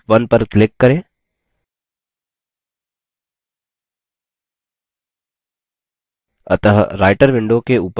अतः writer window के ऊपर दायीं तरफ हमारा data है